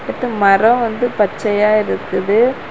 அப்புறம் மரம் வந்து பச்சையா இருக்குது.